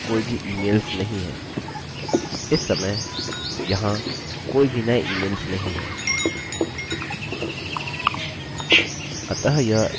इस समय यहाँ कोई भी नये इमेल्सemails नहीं है